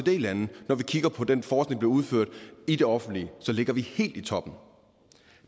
lande når vi kigger på den forskning udført i det offentlige ligger vi helt i toppen